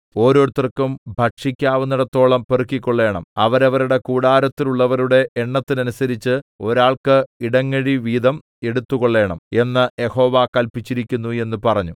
ഓരോരുത്തർക്കും ഭക്ഷിക്കാവുന്നേടത്തോളം പെറുക്കിക്കൊള്ളേണം അവരവരുടെ കൂടാരത്തിലുള്ളവരുടെ എണ്ണത്തിനനുസരിച്ച് ഒരാൾക്ക് ഇടങ്ങഴിവീതം എടുത്തുകൊള്ളണം എന്ന് യഹോവ കല്പിച്ചിരിക്കുന്നു എന്ന് പറഞ്ഞു